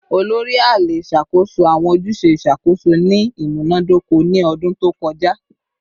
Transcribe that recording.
Olori / Ale ṣakoso awọn ojuse iṣakoso ni imunadoko ni ọdun to kọja